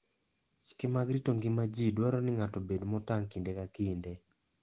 Chike mag rito ngima ji dwaro ni ng'ato obed motang' kinde ka kinde.